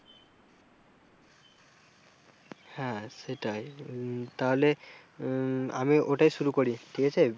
হ্যাঁ সেটাই তাহলে আমি ওটাই শুরু করি ঠিক আছে।